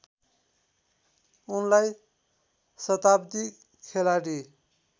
उनलाई सताब्दी खेलाडी